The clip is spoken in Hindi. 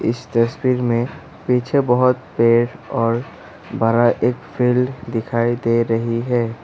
इस तस्वीर में पीछे बहोत पेड़ और बड़ा एक फील्ड दिखाई दे रही है।